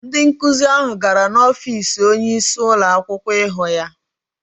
Ndị nkụzi ahụ gara n’ọfiisi onyeisi ụlọakwụkwọ ịhụ ya.